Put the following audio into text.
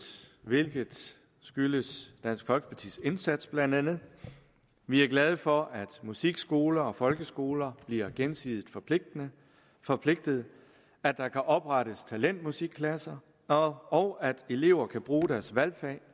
hvilket skyldes dansk folkepartis indsats blandt andet vi er glade for at musikskoler og folkeskoler bliver gensidigt forpligtet forpligtet at der kan oprettes talentmusikklasser og og at elever kan bruge deres valgfag